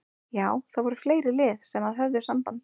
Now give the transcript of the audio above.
Já það voru fleiri lið sem að höfðu samband.